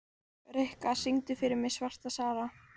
Rikka, syngdu fyrir mig „Svarta Sara“.